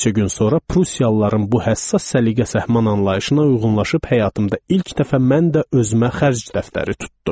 Bir neçə gün sonra Prussiyalıların bu həssas səliqə-səhman anlayışına uyğunlaşıb həyatımda ilk dəfə mən də özümə xərc dəftəri tutdum.